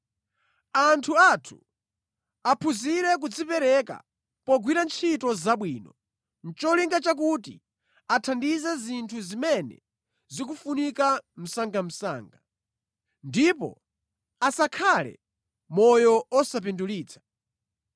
Anthu athu aphunzire kudzipereka pogwira ntchito zabwino, nʼcholinga chakuti athandize zinthu zimene zikufunika msangamsanga. Ndipo asakhale moyo osapindulitsa.